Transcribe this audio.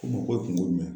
Ko mɔgɔ ye kungo ye